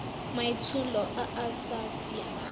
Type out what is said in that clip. maitsholo a a sa siamang